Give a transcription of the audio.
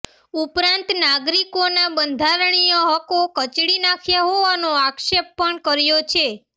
ઉપરાંત નાગરિકોના બંધારણીય હકો કચડી નાખ્યા હોવાનો આક્ષેપ પણ કર્યો છે